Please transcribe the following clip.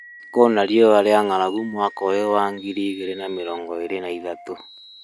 Kwĩna riũa rĩa ngʻaragu mwaka ũyũ wa ngiri igĩrĩ na mĩrongo ĩrĩ na ithatũ